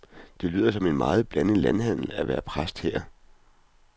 Det lyder som en meget blandet landhandel at være præst her.